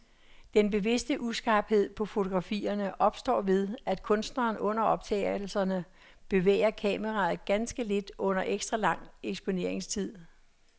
Den bevidste uskarphed på fotografierne opstår ved, at kunstneren under optagelserne bevæger kameraet ganske lidt under ekstra lang eksponeringstid.